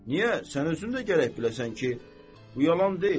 Niyə, sən özün də gərək biləsən ki, bu yalan deyil.